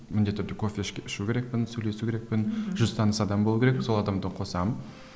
міндетті түрде кофе ішу керекпін сөйлесу керекпін жүз таныс адам болу керек сол адамды қосамын